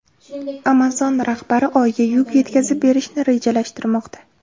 Amazon rahbari Oyga yuk yetkazib berishni rejalashtirmoqda.